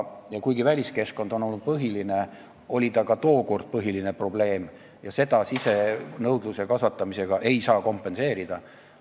Ja kuigi põhiline probleem on olnud väliskeskkond – see oli põhiline probleem ka tookord –, ei saa seda sisenõudluse kasvatamisega kompenseerida.